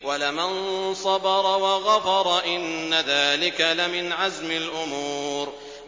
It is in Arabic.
وَلَمَن صَبَرَ وَغَفَرَ إِنَّ ذَٰلِكَ لَمِنْ عَزْمِ الْأُمُورِ